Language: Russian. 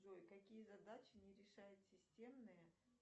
джой какие задачи не решает системные